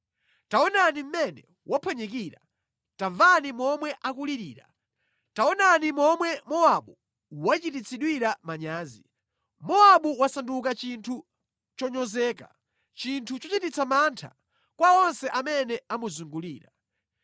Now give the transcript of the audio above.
“Taonani mmene waphwanyikira! Tamvani momwe akulirira! Taonani momwe Mowabu wachititsidwira manyazi. Mowabu wasanduka chinthu chonyozeka, chinthu chochititsa mantha kwa onse amene amuzungulira.”